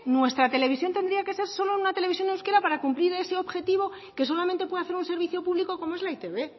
nuestra televisión tendría que ser solo una televisión en euskera para cumplir ese objetivo que solamente puede hacer un servicio público como es la etb